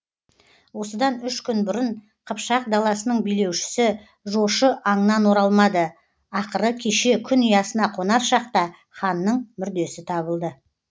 осыдан үш күн бұрын қыпшақ даласының билеушісі жошы аңнан оралмады ақыры кеше күн ұясына қонар шақта ханның мүрдесі табылды